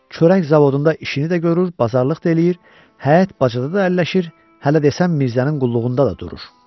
Çörək zavodunda işini də görür, bazarlıq da eləyir, həyət bacada da əlləşir, hələ desən Mirzənin qulluğunda da durur.